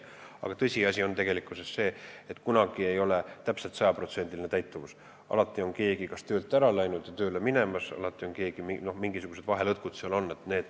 Aga tõsiasi on see, et kunagi ei ole 100%-list täituvust, alati on keegi kas töölt ära läinud või alles tööle tulemas, mingisugused lõtkud seal on.